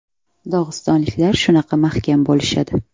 Dog‘istonliklar shunaqa mahkam bo‘lishadi.